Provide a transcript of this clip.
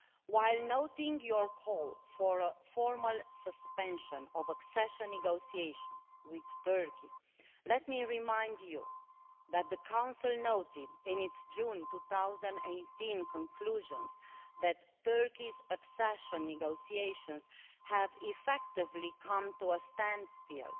While noting your call for a formal suspension of accession negotiations with Turkey, let me remind you that the Council noted in its June 2018 conclusions that Turkey's accession negotiations have effectively come to a standstill,